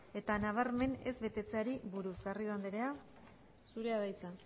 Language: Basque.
eta nabarmen ez betetzeari buruz garrido anderea zurea da hitza